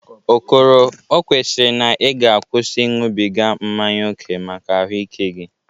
Okoro, o kwesiri na ị ga-akwụsị ịñụbịga mmanye oke maka ahụ ike gị.